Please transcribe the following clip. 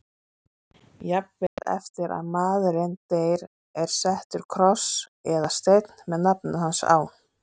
Jafnvel eftir að maðurinn deyr er settur kross eða steinn með nafninu hans.